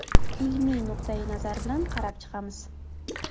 Ilmiy nuqtai-nazar bilan qarab chiqamiz.